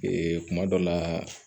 kuma dɔ la